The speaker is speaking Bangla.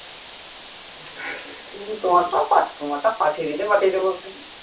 তুমি তোমার টাকা তোমারটা পাঠিয়ে দিলে পাঠিয়ে দেব এক্ষুনি